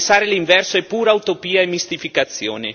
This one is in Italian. Pensare l'inverso è pura utopia e mistificazione.